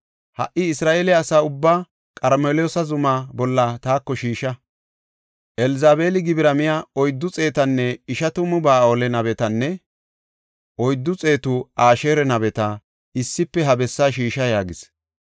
Ha77i, Isra7eele asa ubbaa Qarmeloosa zuma bolla taako shiisha. Elzabeeli gibira miya oyddu xeetanne ishatamu Ba7aale nabetanne oyddu xeetu Asheera nabeta issife ha bessaa shiisha” yaagis.